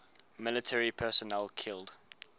military personnel killed